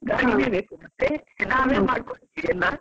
ಹಾ ಗಾಡಿನೇ ಬೇಕಾಗುತ್ತೆ ನಾವೇ ಮಾಡ್ಕೊಂಡಿದ್ದೀವೆಲ್ಲ?